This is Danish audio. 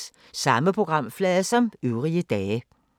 Samme programflade som øvrige dage